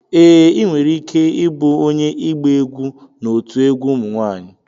Ee, ị nwere ike ịbụ onye ịgba egwu n'otu egwu ụmụ nwanyị.